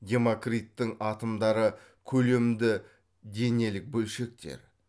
демокриттің атомдары көлемді денелік бөлшектер